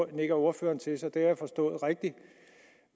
det nikker ordføreren til så det har jeg forstået rigtigt